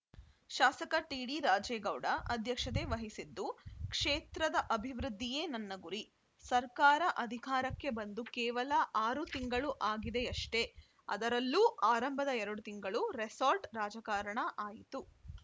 ಶಾಸಕ ಟಿಡಿರಾಜೇಗೌಡ ಅಧ್ಯಕ್ಷತೆ ವಹಿಸಿದ್ದು ಕ್ಷೇತ್ರದ ಅಭಿವೃದ್ಧಿಯೇ ನನ್ನ ಗುರಿ ಸರ್ಕಾರ ಅಧಿಕಾರಕ್ಕೆ ಬಂದು ಕೇವಲ ಆರು ತಿಂಗಳು ಆಗಿದೆಯಷ್ಟೇ ಅದರಲ್ಲೂ ಆರಂಭದ ಎರಡು ತಿಂಗಳು ರೆಸಾರ್ಟ್‌ ರಾಜಕಾರಣ ಆಯಿತು